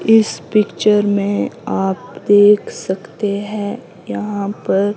इस पिक्चर में आप देख सकते हैं यहां पर--